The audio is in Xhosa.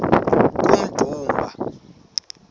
kummdumba